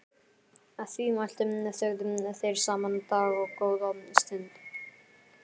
Að því mæltu þögðu þeir saman dágóða stund.